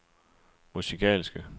musikalske